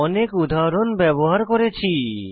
অনেক উদাহরণ ব্যবহার করেছি